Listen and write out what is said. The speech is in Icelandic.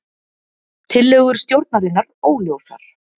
Tillögur stjórnarinnar óljósar